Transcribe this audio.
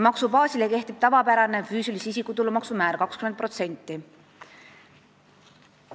Maksubaasile kehtib tavapärane füüsilise isiku tulumaksu määr 20%.